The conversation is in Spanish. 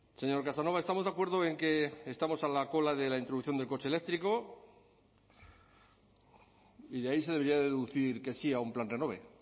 señor casanova estamos de acuerdo en que estamos a la cola de la introducción del coche eléctrico y de ahí se debería deducir que sí a un plan renove